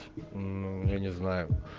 ну я не знаю